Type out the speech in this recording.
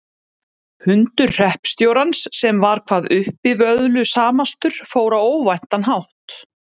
Hundur hreppstjórans sem var hvað uppivöðslusamastur fór á óvæntan hátt.